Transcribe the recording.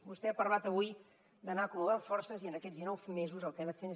vostè ha parlat avui d’anar acumulant forces i en aquests dinou mesos el que ha anat fent